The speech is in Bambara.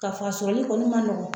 Ka f'a sɔrɔli kɔni man nɔgɔn.